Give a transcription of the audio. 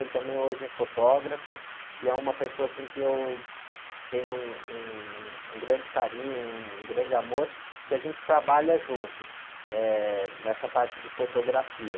Ele também hoje é fotógrafo e é uma pessoa, assim, que eu tenho um, um grande carinho, um grande amor, que a gente trabalha junto, eh, nessa parte de fotografia.